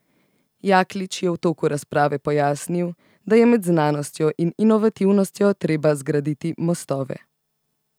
Jaklič je v toku razprave pojasnil, da je med znanostjo in inovativnostjo treba zgraditi mostove.